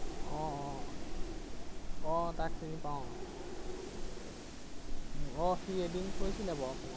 আহ আহ আহ তাক চিনি পাও। আহ সি এদিন কৈছিলে বাৰু।